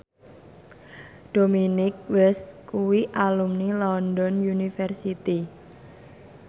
Dominic West kuwi alumni London University